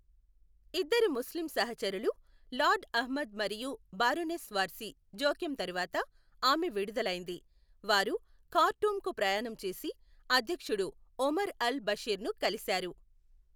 ఇద్దరు ముస్లిం సహచరులు, లార్డ్ అహ్మద్ మరియు బారోనెస్ వార్సీ జోక్యం తరువాత ఆమె విడుదలైంది, వారు ఖార్టూమ్కు ప్రయాణం చేసి అధ్యక్షుడు ఒమర్ అల్ బషీర్ని కలిశారు.